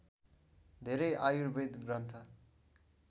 धेरै आयुर्वेद ग्रन्थ